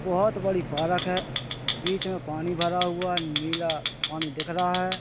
बहुत बड़ी पार्क है बीच में पानी भरा हुआ नीला पानी दिख रहा है।